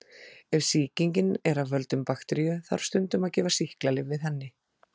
Ef sýkingin er af völdum bakteríu þarf stundum að gefa sýklalyf við henni.